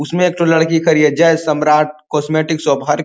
उसमे एक ठो लड़की खरी है। Jai Samrat cosmetic shop. हर --